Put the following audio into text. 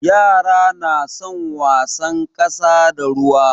Yara na son wasan ƙasa da ruwa.